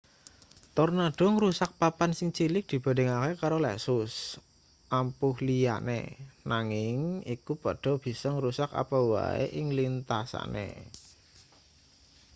tornado ngrusak papan sing cilik dibandhingake karo lesus ampuh liyane nanging iku padha bisa ngrusak apa wae ing lintasane